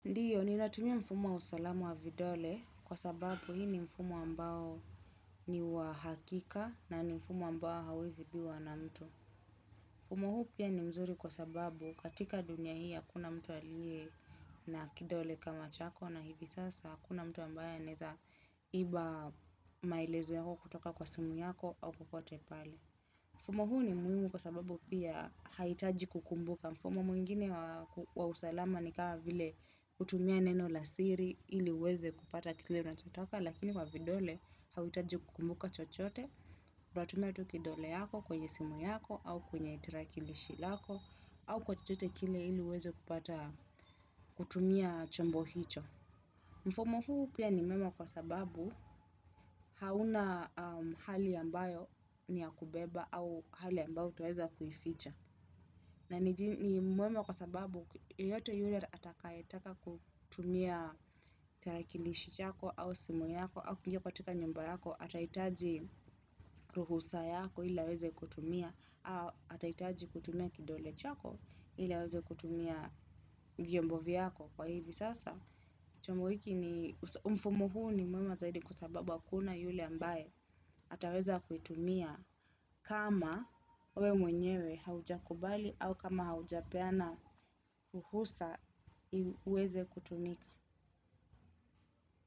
Ndiyo nina tumia mfumo wa usalamu wa vidole kwa sababu hii ni mfumo ambao ni wa hakika na ni mfumo ambao hauwezi ibiwa na mtu. Mfumo huu pia ni mzuri kwa sababu katika dunia hii hakuna mtu aliye na kidole kama chako na hivi sasa hakuna mtu ambaye anaweza iba maelezo yako kutoka kwa simu yako au popote pale. Mfumo huu ni muhimu kwa sababu pia haihitaji kukumbuka. Mfumo mwingine wa usalama ni kama vile kutumia neno la siri ili uweze kupata kile unachotaka lakini kwa vidole hauta jikumbuka chochote. Uta tumia tu kidole yako kwenye simu yako au kwenye tarakilishi lako au kwa chochote kile ili uweze kupata kutumia chombo hicho. Mfumo huu pia ni muhimu kwa sababu hauna hali ambayo ni ya kubeba au hali ambayo utaweza kuificha. Na ni mwema kwa sababu yeyote yule atakaye taka kutumia terakilishi chako au simu yako au kuingia katika nyumba yako atahitaji ruhusa yako ili aweze kutumia au atahitaji kutumia kidole chako ili aweze kutumia vyombo vyako kwa hivyo sasa. Chumuhiki ni mfumo huu ni mwema zaidi kwa sababa hakuna yule ambaye ataweza kuitumia kama wewe mwenyewe haujakubali au kama haujapeana ruhusa uweze kutumika.